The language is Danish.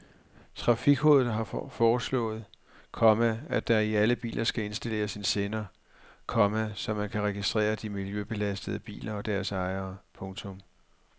Trafikrådet har foreslået, komma at der i alle biler skal installeres en sender, komma så man kan registrere de miljøbelastende biler og deres ejere. punktum